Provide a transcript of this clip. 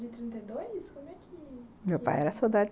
de trinta e dois? como é que... meu pai era soldado...